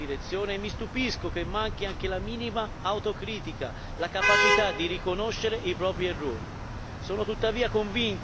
Non possiamo continuare in questa direzione e mi stupisco che manchi anche la minima autocritica, la capacità di riconoscere i propri errori.